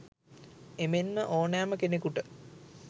එමෙන්ම ඕනෑම කෙනෙකුට